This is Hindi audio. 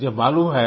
मुझे मालूम है